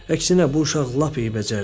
Əksinə bu uşaq lap eybəcərdir.